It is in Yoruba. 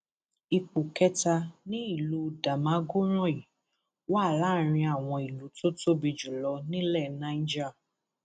ipò kẹta ni ìlú damagoràn yìí wà láàrin àwọn ìlú tó tóbi jù lọ nílẹ niger